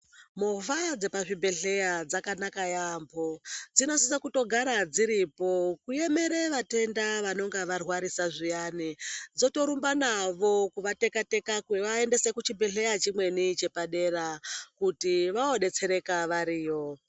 Movha dzepazvibhedhleya dzakanaka yambo dzinosise kutogara dziripo kuemera vatenda vanonga varwarisa zviyani dzotorumba navo kuvateka teka kuvaendese kuchibhedhleya chimweni chepadera kuti vodetsereka variyo.